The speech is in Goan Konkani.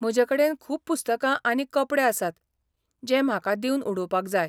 म्हजेकडेन खूब पुस्तकां आनी कपडे आसात जे म्हाका दिवन उडोवपाक जाय.